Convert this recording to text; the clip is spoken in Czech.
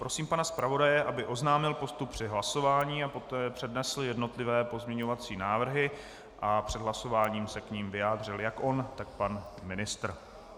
Prosím pana zpravodaje, aby ohlásil postup při hlasování a poté přednesl jednotlivé pozměňovací návrhy a před hlasováním se k nim vyjádřil jak on, tak pan ministr.